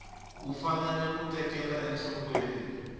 u fanele ku tekela enhlokweni